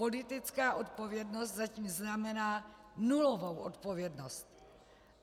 Politická odpovědnost zatím znamená nulovou odpovědnost.